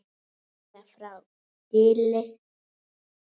Kveðja frá Gili.